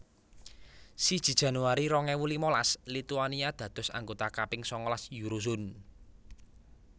Siji Januari rong ewu limalas Lituania dados anggota kaping sangalas Eurozone